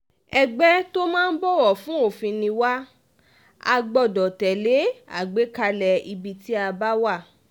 ẹgbẹ́ tó máa ń bọ̀wọ̀ fún òfin ni wà á gbọ́dọ̀ tẹ̀lé àgbékalẹ̀ ibi tí a bá wà